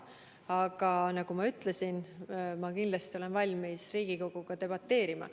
Aga nagu ma ütlesin, ma kindlasti olen valmis Riigikoguga debateerima.